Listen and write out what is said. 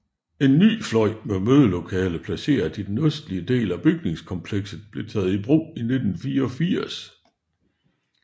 En ny fløj med mødelokale placeret i den østlige del af bygningskomplekset blev taget i brug i 1984